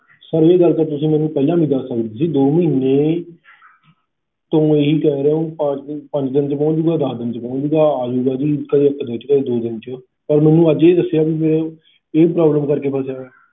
sir ਇਹ ਗੱਲ ਤਾਂ ਤੁਸੀਂ ਮੈਨੂੰ ਪਹਿਲਾਂ ਵੀ ਦੱਸ ਸਕਦੇ ਸੀ ਦੋ ਮਹੀਨੇ ਤੋਂ ਤੁਸੀਂ ਹੀ ਕਹਿ ਰਹੇ ਹੋ ਪੰਜ ਦਿਨ ਚ ਪਹੁੰਚ ਜੂਗਾ ਦੱਸ ਦਿਨ ਚ ਆ ਜੂ parcel ਗਾ ਅਜੁਗਾ ਜੀ ਕਦੇ ਇੱਕ ਦਿਨ ਚ ਦੋ ਦਿਨ ਚ ਤੁਸੀਂ ਅੱਜ ਹੀ ਦੱਸਿਆ ਕਿ ਇਹ problem ਕਰਕੇ